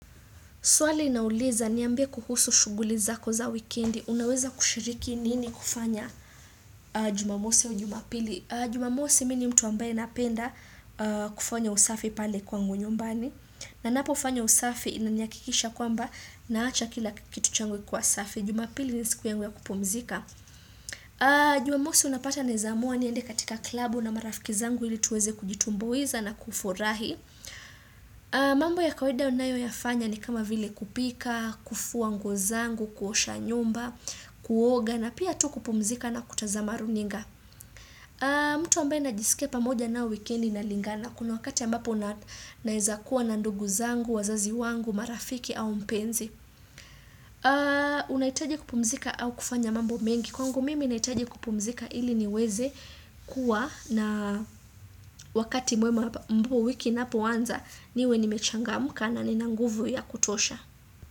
Swali inauliza niambie kuhusu shuguli zako za wikendi. Unaweza kushiriki nini kufanya jumamosi au jumapili. Jumamosi mimi ni mtu ambaye napenda kufanya usafi pale kwangu nyumbani. Na napo fanya usafi inanaihakikisha kwamba naacha kila kitu changu kikiwa safi. Jumapili ni siku yangu ya kupumzika. Jumamosi unapata naeza amua niende katika klabu na marafiki zangu ili tuweze kujitumbuiza na kufurahi. Mambo ya kawaida ninayoyafanya ni kama vile kupika, kufua nguo zangu, kuosha nyumba, kuoga na pia tu kupumzika na kutazama runinga mtu ambaye najisikia pamoja na wikendi inalingana kuna wakati ambapo naeza kuwa na ndugu zangu, wazazi wangu, marafiki au mpenzi unahitaji kupumzika au kufanya mambo mengi Kwangu mimi nahitaji kupumzika ili niweze kuwa na wakati mwema ambayo wiki inapoanza niwe nimechangamka na nina nguvu ya kutosha.